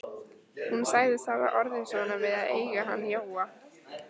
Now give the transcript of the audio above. Hún sagðist hafa orðið svona við að eiga hann Jóa.